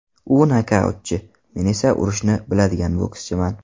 U nokautchi, men esa urishni biladigan bokschiman.